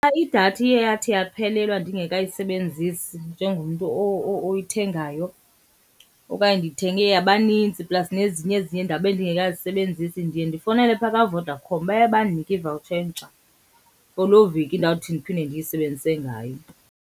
idatha iye yathi yaphelelwa ndingekayisebenzisi njengomntu oyithengayo okanye ndiyithenge yabanintsi plus nezinye ezinye ndabe ndingekazisebenzisi, ndiye ndifowunele phaa kaVodacom. Baye bandinike i-voucher entsha for loo veki ndawuthi ndiphinde ndiyisebenzise ngayo.